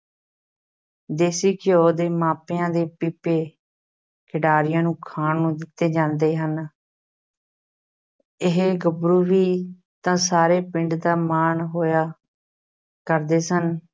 ਦੇਸੀ ਘਿਓ ਦੇ ਮਾਪਿਆਂ ਦੇ ਪੀਪੇ ਖਿਡਾਰੀਆਂ ਨੂੰ ਖਾਣ ਨੂੰ ਦਿੱਤੇ ਜਾਂਦੇ ਹਨ ਇਹ ਗੱਭਰੂ ਵੀ ਤਾਂ ਸਾਰੇ ਪਿੰਡ ਦਾ ਮਾਣ ਹੋਇਆ ਕਰਦੇ ਸਨ।